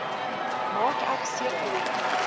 maak ek seker